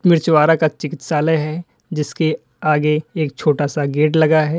मिर्चवाड़ा का चिकित्सालय है जिसके आगे एक छोटा सा गेट लगा है।